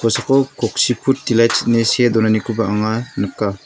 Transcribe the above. kosako koksi put dilaits ine see donanikoba anga nika.